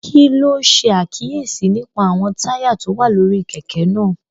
Kí ló ṣe àkíyèsí nípa àwọn táyà tó wà lórí kẹ̀kẹ́ náà?